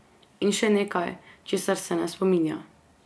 In še nekaj, česar se ne spominja.